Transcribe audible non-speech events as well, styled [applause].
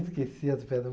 Esqueci as [unintelligible]